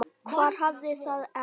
Hver hafði það ekki?